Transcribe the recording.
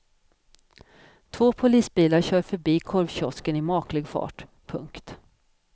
Två polisbilar kör förbi korvkiosken i maklig fart. punkt